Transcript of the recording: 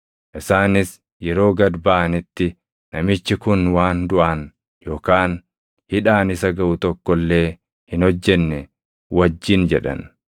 Isaanis yeroo gad baʼanitti, “Namichi kun waan duʼaan yookaan hidhaan isa gaʼu tokko illee hin hojjenne” wajjin jedhan.